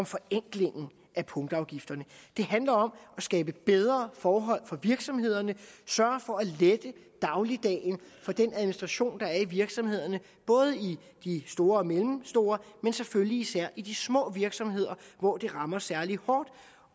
forenkling af punktafgifterne det handler om at skabe bedre forhold for virksomhederne at sørge for at lette dagligdagen for den administration der er i virksomhederne i de store og mellemstore men selvfølgelig især i de små virksomheder hvor det rammer særlig hårdt